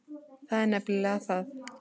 Það er nefnilega það.